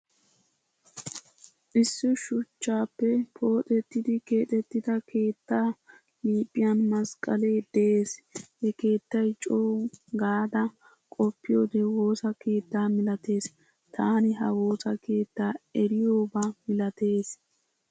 Issi shuchchappe pooxettidi keexetida keettaa liphphiyan masqqalee de'ees. Ha keettay co gada qoppiyode woosaa keettaa milatees. Taani ha woosaa keetta eriyoba milatees.